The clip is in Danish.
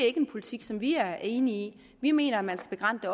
er en politik som vi er enige i vi mener at man skal begrænse